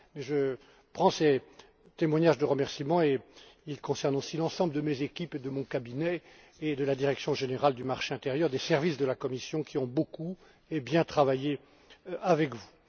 Je prends acte de ces témoignages de remerciements, qui concernent aussi l'ensemble de mes équipes, de mon cabinet et de la direction générale du marché intérieur des services de la Commission, qui ont beaucoup et bien travaillé avec vous.